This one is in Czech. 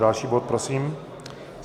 Další návrh prosím.